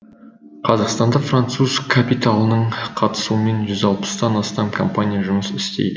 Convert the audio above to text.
қазақстанда француз капиталының қатысуымен жүз алпыстан астам компания жұмыс істейді